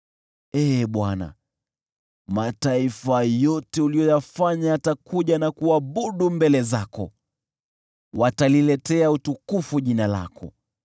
Ee Bwana , mataifa yote uliyoyafanya yatakuja na kuabudu mbele zako; wataliletea utukufu jina lako.